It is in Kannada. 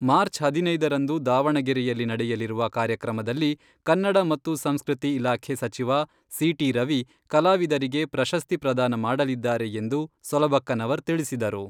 ಮಾರ್ಚ್ ಹದಿನೈದರಂದು ದಾವಣಗೆರೆಯಲ್ಲಿ ನಡೆಯಲಿರುವ ಕಾರ್ಯಕ್ರಮದಲ್ಲಿ ಕನ್ನಡ ಮತ್ತು ಸಂಸ್ಕೃತಿ ಇಲಾಖೆ ಸಚಿವ ಸಿಟಿ ರವಿ ಕಲಾವಿದರಿಗೆ ಪ್ರಶಸ್ತಿ ಪ್ರದಾನ ಮಾಡಲಿದ್ದಾರೆ ಎಂದು ಸೊಲಬಕ್ಕನವರ್ ತಿಳಿಸಿದರು.